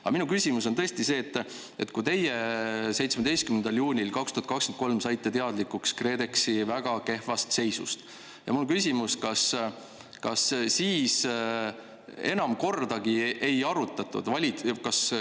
Aga minu küsimus on see, et kui teie 17. juunil 2023 saite teadlikuks KredExi väga kehvast seisust, kas siis seda enam kordagi ei arutatud.